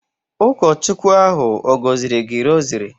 Ụkọchukwu ahụ ọ̀ gọziri gị rosary?